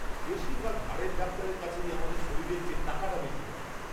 বেশিরভাগ হাড়ের ডাক্তারের কাছেই আমাদের শরীরের চেয়ে টাকাটা বেশী বড়।